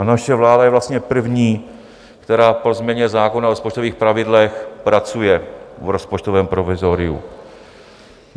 A naše vláda je vlastně první, která po změně zákona o rozpočtových pravidlech pracuje v rozpočtovém provizoriu.